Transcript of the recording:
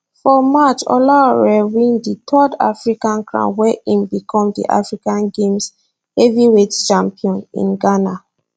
for march olaore win di third african crown wen im become di african games heavyweight champion in ghana